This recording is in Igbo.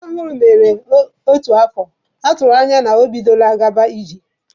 Ka nwa ọhụrụ mere otu afọ, atụrụ anya na o bidola kwube okwu.